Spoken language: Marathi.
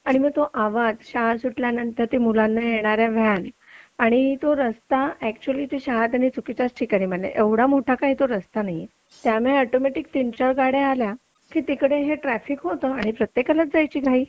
आणि मग तो आवाज शाळा सुटल्यानंतर मुलांना घ्यायला आलेल्या त्या व्हॅन आणि तो रस्ता ऍक्च्युली ती शाळा त्यांनी चुकीच्या ठिकाणी बांधली एवढा मोठा काय तो रस्ता नाहीये त्यामुळे ऑटोमॅटिक तीन-चार गाड्या आल्या की तिकडे हे ट्राफिक होतं आणि प्रत्येकाला जायची घाई